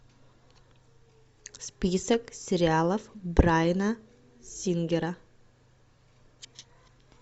список сериалов брайана сингера